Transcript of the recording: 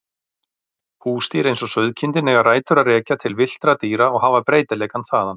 Húsdýr eins og sauðkindin eiga rætur að rekja til villtra dýra og hafa breytileikann þaðan.